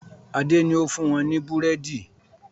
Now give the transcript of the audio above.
Adé ni ó fún wọn ní búrẹ́dì